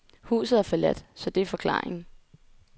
Huset er forladt, så det er forklaringen.